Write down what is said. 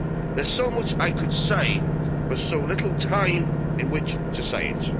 There's so much I could say but so little time in which to say